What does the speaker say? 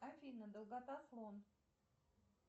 афина долгота слон